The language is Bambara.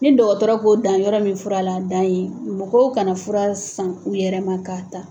Ni dɔgɔtɔrɔ ko dan yɔrɔ min fura la dan ye mɔgɔw kana fura san u yɛrɛ ma k'a ta.